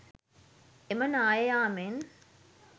එම නාය යාමෙන්